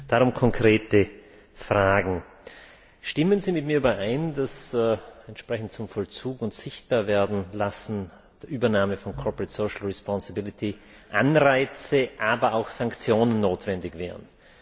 Darum konkrete Fragen Stimmen Sie mit mir überein, dass entsprechend zum Vollzug und Sichtbarwerdenlassen der Übernahme von Anreize, aber auch Sanktionen notwendig wären?